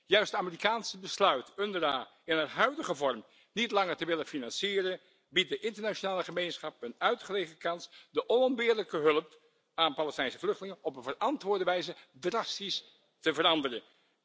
Juist het Amerikaanse besluit UNRWA in haar huidige vorm niet langer te willen financieren, biedt de internationale gemeenschap een uitgelezen kans de onontbeerlijke hulp aan Palestijnse vluchtelingen op een verantwoorde wijze drastisch te veranderen.